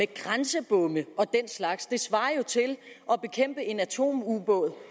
grænsebomme og den slags svarer til at bekæmpe en atomubåd